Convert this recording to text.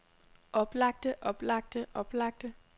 oplagte oplagte oplagte